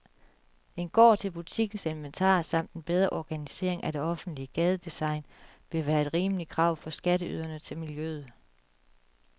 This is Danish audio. En gård til butikkens inventar samt en bedre organisering af det offentlige gadedesign ville være et rimeligt krav fra skatteyderne til miljøet.